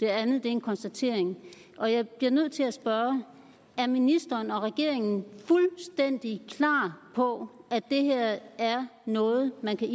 er en konstatering og jeg bliver nødt til at spørge er ministeren og regeringen fuldstændig klar på at det her er noget man kan